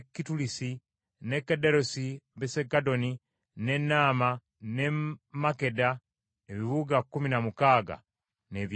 n’e Gederosi, Besudagoni, n’e Naama, n’e Makkeda, ebibuga kkumi na mukaaga n’ebyalo byabyo.